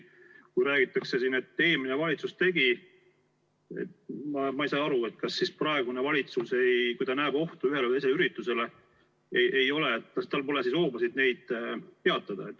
Kui räägitakse siin, et eelmine valitsus tegi, siis ma ei saa aru, kas praegusel valitsusel, kui ta näeb ohtu ühes või teises ürituses, ei ole hoobasid neid peatada.